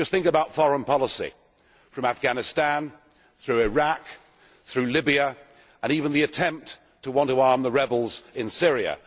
Just think about foreign policy from Afghanistan, through Iraq to Libya, and even the attempt to seek to arm the rebels in Syria.